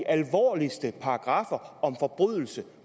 alvorligste paragraffer om forbrydelser